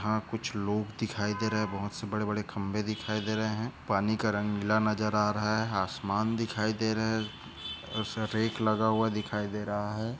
यहाँ कुछ लोग दिखाई दे रहे बहुत से बड़े बड़े खंबे दिखाई दे रहे है पानी का रंग नीला नज़र आ रहा है आसमान दिखाई दे रहे लगा हुआ दिखाई दे रहा है।